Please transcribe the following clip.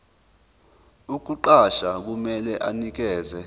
ukukuqasha kumele anikeze